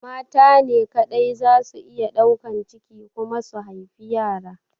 Mata ne kaɗai zasu iya ɗaukan ciki kuma su haifi yara.